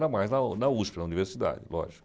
Era mais na na USP, na universidade, lógico.